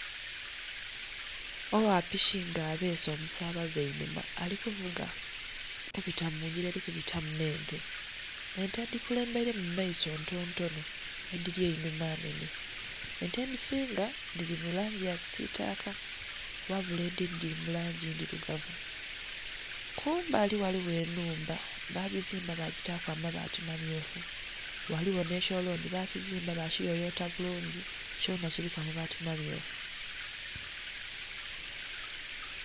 Ogha piki nga abeese omusabaze einhuma alikuvuga alikubita mungila eli kubitamu nh'ente, ente edhi kulemberemu mumaiso nti ntono edhili einhuma nnhenhe, ente edhisinga dhili mulangi ya kisitaka ghabula edhindhi dhili mulangi ndhilugavu. Kumbali ghaligho enhumba bagizimba bagita ku amabaati mammyufu ghaligho nhe kyoloni bakyizimba bakiyoyota bulungi kyo nha kiliku amabaati amamyufu.